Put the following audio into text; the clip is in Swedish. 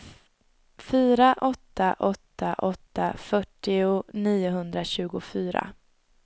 fyra åtta åtta åtta fyrtionio niohundratjugofyra